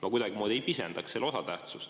Ma kuidagimoodi ei pisendaks selle osatähtsust.